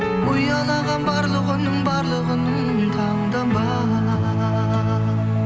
ұялаған барлық үнің барлық үнің таңданба